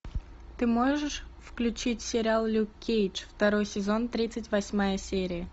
ты можешь включить сериал люк кейдж второй сезон тридцать восьмая серия